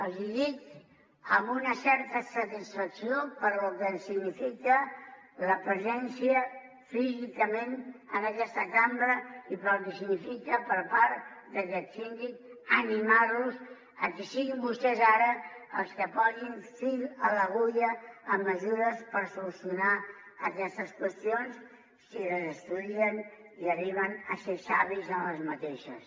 els hi dic amb una certa satisfacció pel que significa la presència físicament en aquesta cambra i pel que significa per part d’aquest síndic animar los a que siguin vostès ara els que posin fil a l’agulla amb mesures per solucionar aquestes qüestions si les estudien i arriben a ser savis amb aquestes